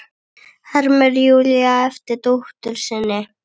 hermir Júlía eftir dóttur sinni.